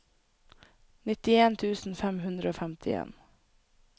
nittien tusen fem hundre og femtien